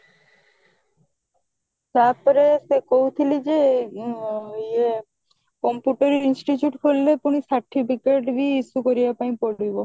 ତାପରେ ସେ କହୁଥିଲି ଯେ ଆଁ ଇଏ computer institute ଖୋଲିଲେ ପୁଣି certificate ବି issue କରିବା ପାଇଁ ପଡିବ